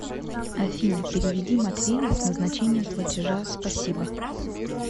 афина переведи матвею с назначением платежа спасибо